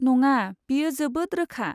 नङा, बेयो जोबोद रोखा।